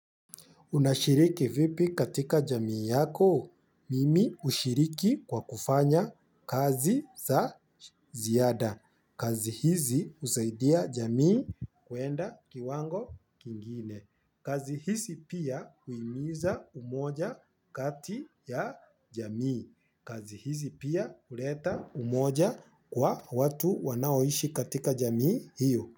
Unashiriki vipi katika jamii yako? Mimi ushiriki kwa kufanya kazi za ziyada. Kazi hizi usaidia jamii kuenda kiwango kingine. Kazi hizi pia huimiza umoja kati ya jamii. Kazi hizi pia uleta umoja kwa watu wanaoishi katika jamii hiyo.